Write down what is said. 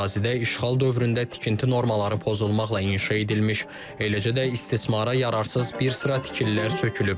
Ərazidə işğal dövründə tikinti normaları pozulmaqla inşa edilmiş, eləcə də istismara yararsız bir sıra tikililər sökülüb.